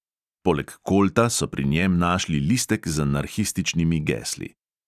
Poleg kolta so pri njem našli listek z anarhističnimi gesli.